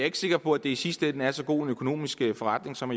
ikke sikker på at det i sidste ende er så god en økonomisk forretning som